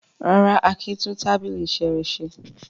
Rárá, Akin tún tábìlì iṣẹ́ rẹ̀ ṣe.